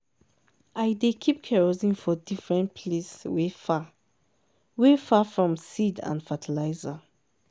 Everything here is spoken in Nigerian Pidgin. i dey keep kerosene for different place wey far wey far from seed and fertiliser.